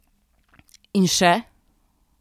In še?